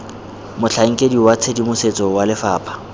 motlhankedi wa tshedimosetso wa lefapha